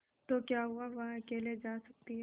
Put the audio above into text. तो क्या हुआवह अकेले जा सकती है